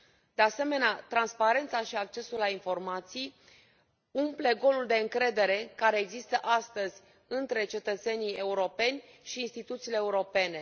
De asemenea, transparența și accesul la informații umplu golul de încredere care există astăzi între cetățenii europeni și instituțiile europene.